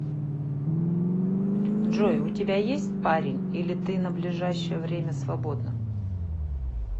джой у тебя есть парень или ты на ближайшее время свободна